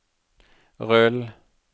rull